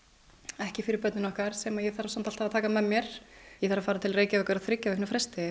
ekki fyrir börnin okkar sem ég þarf samt alltaf að taka með mér ég þarf að fara til Reykjavíkur á þriggja vikna fresti